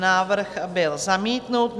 Návrh byl zamítnut.